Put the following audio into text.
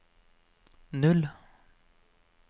null